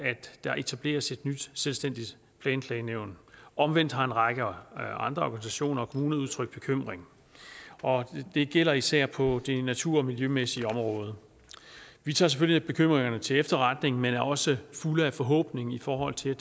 der etableres et nyt selvstændigt planklagenævn omvendt har en række andre organisationer og kommuner udtrykt bekymring og det gælder især på det natur og miljømæssige område vi tager selvfølgelig bekymringerne til efterretning men er også fulde af forhåbning i forhold til